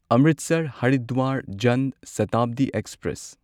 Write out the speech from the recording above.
Amritsar Haridwar Jan Shatabdi express